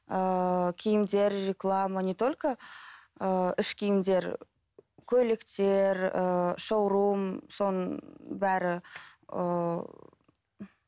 ыыы киімдер реклама не только ыыы іш киімдер көйлектер ыыы шоурум соның бәрі ыыы